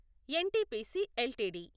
NTPC LTD